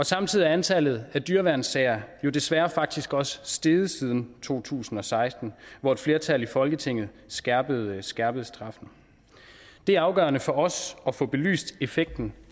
samtidig er antallet af dyreværnssager jo desværre faktisk også steget siden to tusind og seksten hvor et flertal i folketinget skærpede skærpede straffen det er afgørende for os at få belyst effekten